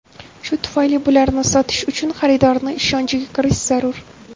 Shu tufayli bularni sotish uchun xaridorni ishonchiga kirish zarur.